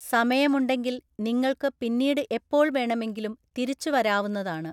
സമയമുണ്ടെങ്കിൽ നിങ്ങൾക്ക് പിന്നീട് എപ്പോൾ വേണമെങ്കിലും തിരിച്ചു വരാവുന്നതാണ്.